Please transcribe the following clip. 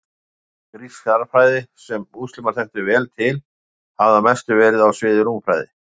Grísk stærðfræði, sem múslímar þekktu vel til, hafði að mestu verið á sviði rúmfræði.